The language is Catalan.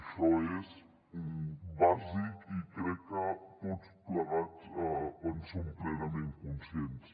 això és bàsic i crec que tots plegats en som plenament conscients